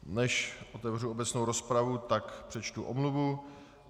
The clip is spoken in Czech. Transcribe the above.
Než otevřu obecnou rozpravu, tak přečtu omluvu.